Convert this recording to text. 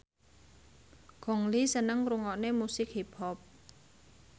Gong Li seneng ngrungokne musik hip hop